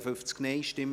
Antrag SiK-Mehrheit